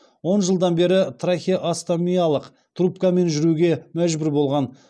он жылдан бері трахеостомиялық трубкамен жүруге мәжбүр болған